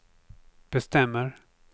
bestämmer